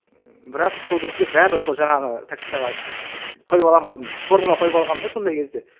ммм бірақ сол кезде бәрібір сол жаңағы тактикаға қойып аламын алдын формула қойып алғамын да сондай кезде